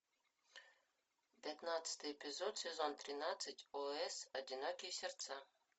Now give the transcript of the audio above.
пятнадцатый эпизод сезон тринадцать о с одинокие сердца